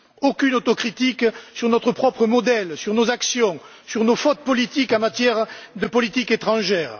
Aucune autocritique sur notre propre modèle, sur nos actions, sur nos fautes politiques en matière de politique étrangère.